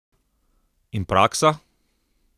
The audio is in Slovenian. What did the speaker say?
In praksa?